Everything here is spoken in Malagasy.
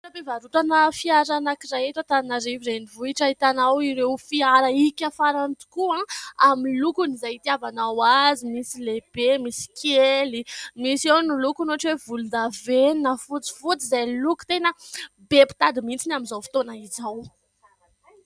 Toeram-pivarotana fiara anankiray eto Antananarivo renivohitra, ahitanao ireo fiara hika farany tokoa amin'ny lokon' izay hitiavanao azy : misy lehibe, misy kely, misy eo ny lokony ohatra hoe volondavenona, fotsifotsy izay loko tena be mpitady mihintsy ny amin'izao fotoana izao.